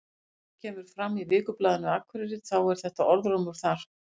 Eins og kemur fram í Vikublaðinu Akureyri þá er þetta orðrómur þar.